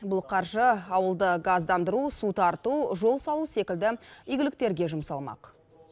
бұл қаржы ауылды газдандыру су тарту жол салу секілді игіліктерге жұмсалмақ